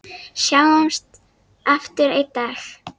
Sjáumst aftur einn daginn.